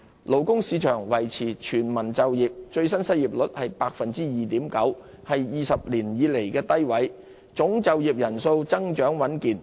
勞工市場維持全民就業，最新失業率為 2.9%， 是20年以來的低位，總就業人數增長穩健。